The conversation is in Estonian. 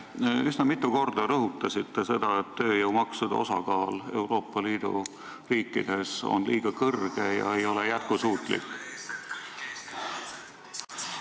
Te üsna mitu korda rõhutasite, et tööjõumaksude osakaal on Euroopa Liidu riikides liiga suur ja see ei ole jätkusuutlik.